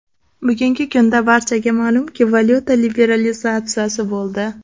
Bugungi kunda barchaga ma’lumki valyuta liberalizatsiyasi bo‘ldi.